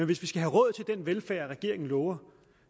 hvis vi skal have råd til den velfærd regeringen lover